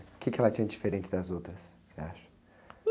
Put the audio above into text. O quê que ela tinha de diferente das outras, você acha?